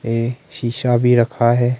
ये शीशा भी रखा है।